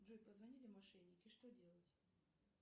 джой позвонили мошенники что делать